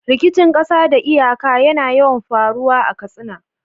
Rikicin ƙasa da iyaka yana yawan faruwa a Katsina.